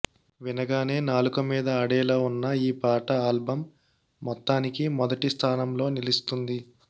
వినగానే నాలుక మీద ఆడేలా ఉన్న ఈ పాట ఆల్బమ్ మొత్తానికి మొదటి స్థానంలో నిలుస్తుంది